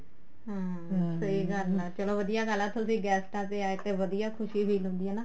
ਹਮ ਸਹੀ ਗੱਲ ਆ ਚਲੋਂ ਵਧੀਆ ਗੱਲ ਆ ਤੁਸੀਂ ਗੈਸਟਾ ਤੇ ਆਏ ਤੇ ਵਧੀਆ ਖੁਸ਼ੀ ਜਿਹੀ feel ਹੁੰਦੀ ਏ ਨਾ